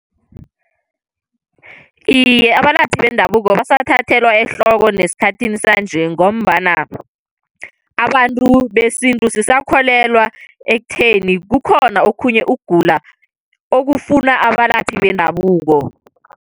Iye, abalaphi bendabuko basathathelwa ehloko nesikhathini sanje. Ngombana abantu besintu sisakholelwa ekutheni, kukhona okhunye ukugula okufuna abalaphi bendabuko.